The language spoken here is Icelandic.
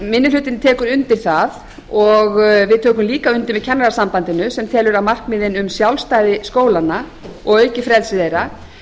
minni hlutinn tekur undir það og við tökum líka undir með kennarasambandinu sem telur að markmiðin um sjálfstæði skólanna og aukið frelsi þeirra